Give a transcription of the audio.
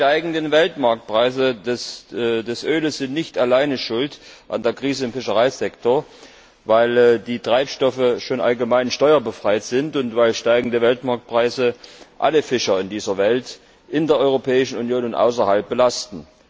Die steigenden Weltmarktpreise für Öl sind nicht alleine schuld an der Krise im Fischereisektor, weil die Treibstoffe schon allgemein steuerbefreit sind und weil steigende Weltmarktpreise alle Fischer in dieser Welt in der Europäischen Union und außerhalb belasten.